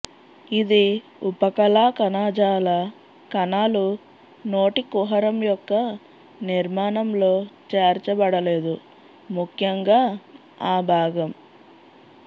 ఇది ఉపకళా కణజాల కణాలు నోటి కుహరం యొక్క నిర్మాణం లో చేర్చబడలేదు ముఖ్యంగా ఆ భాగం